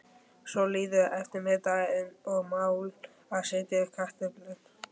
Svo líður eftirmiðdagurinn og mál að setja upp kartöflur.